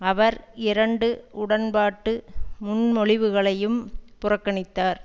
அவர் இரண்டு உடன்பாட்டு முன்மொழிவுகளையும் புறக்கணித்தார்